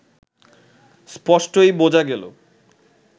স্পষ্টই বোঝা গেল